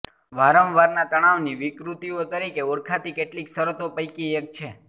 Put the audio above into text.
વારંવારના તણાવની વિકૃતિઓ તરીકે ઓળખાતી કેટલીક શરતો પૈકી એક છે